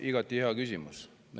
Igati hea küsimus.